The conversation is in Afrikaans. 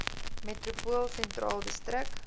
metropool sentraal distrik